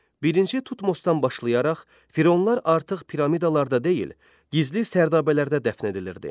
Birinci Tutmosdan başlayaraq Fironlar artıq piramidalarda deyil, gizli sərdabələrdə dəfn edilirdi.